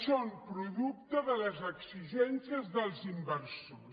són producte de les exigències dels inversors